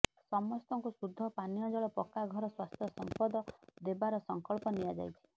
ସମସ୍ତଙ୍କୁ ଶୁଦ୍ଧ ପାନୀୟ ଜଳ ପକ୍କା ଘର ସ୍ୱାସ୍ଥ୍ୟ ସଂପଦ ଦେବାର ସଂକଳ୍ପ ନିଆଯାଇଛି